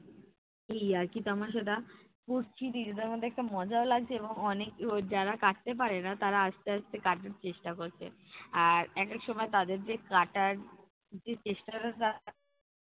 এই ইয়ার্কি তামাশাটা করছি, নিজেদের মধ্যে একটা মজাও লাগছে এবং অনেক যারা কাটতে পারে না তারা আস্তে আস্তে কাটার চেষ্টা করছে আর এক এক সময় তাদের যে কাটার যে চেষ্টাটা তারা